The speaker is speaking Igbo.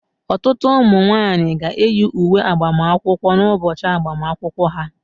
Ọtụtụ ụmụ nwanyị ga-eyi uwe agbamakwụkwọ n'ụbọchị agbamakwụkwọ ha